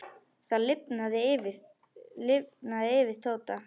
Það lifnaði yfir Tóta.